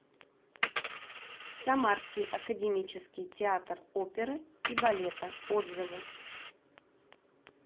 самарский академический театр оперы и балета отзывы